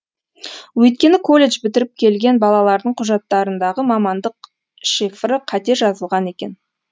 өйткені колледж бітіріп келген балалардың құжаттарындағы мамандық шифры қате жазылған екен